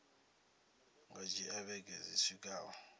nga dzhia vhege dzi swikaho